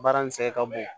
Baara nin sɛgɛn ka bon